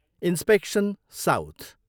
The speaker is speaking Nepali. Inspection south.